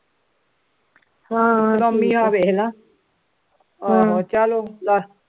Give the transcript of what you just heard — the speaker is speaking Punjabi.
ਹਾਂ ਆਹੋ ਚਲੋ